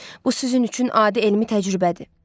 Bu sizin üçün adi elmi təcrübədir.